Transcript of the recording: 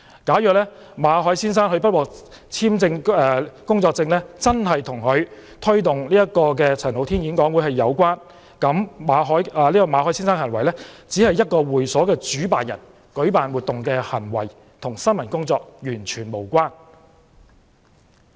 假如馬凱先生不獲續簽工作簽證真的與他推動陳浩天演講會有關，也只是基於他以會所主辦人身份舉辦活動的行為，與新聞工作完全無關。